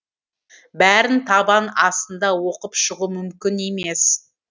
бәрін табан астында оқып шығу мүмкін емес